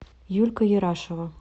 юлька ерашева